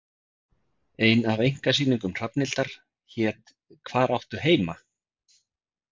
Ein af einkasýningum Hrafnhildar hét Hvar áttu heima?